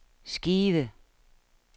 skive